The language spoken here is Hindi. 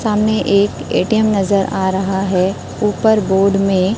सामने एक ए_टी_एम नजर आ रहा है ऊपर बोर्ड में--